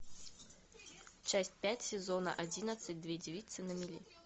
часть пять сезона одиннадцать две девицы на мели